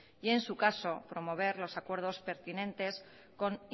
y en su caso promover los acuerdos pertinentes con